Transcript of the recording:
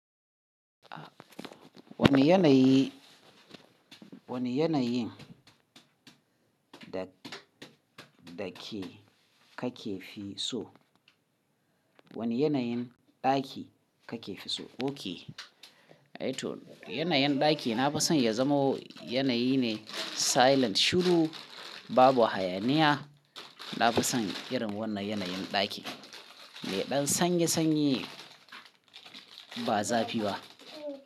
Wane yanayi, wane yanayin ɗa-ɗake kake fi so? Wane yanayin ɗaki kake fi so? Ok. Yana yin ɗaki na fi son ya zamo yanayi ne silent shiru, babu hayaniya. Na fi son irin wannan yanayin ɗaki. Mai ɗan sanye sanye ba zafi ba.